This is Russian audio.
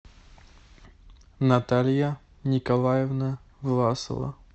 наталья николаевна власова